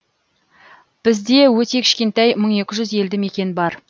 бізде өте кішкентай мың екі жүз елді мекен бар